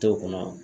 To o kɔnɔ